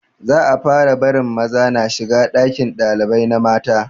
Za a fara barin maza na shiga ɗakin ɗalibai na mata